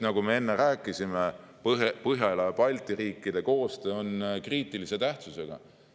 Nagu me enne rääkisime, Põhjala-Balti riikide koostöö on kriitilise tähtsusega.